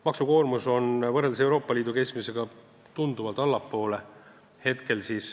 Maksukoormus on praegu Euroopa Liidu keskmisest tunduvalt allpool.